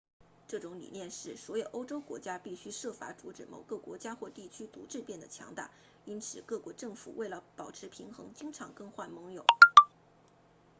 这种理念是所有欧洲国家必须设法阻止某个国家地区独自变得强大因此各国政府为了保持平衡经常更换盟友